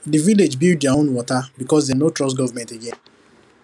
the village build their own water because dem no trust government again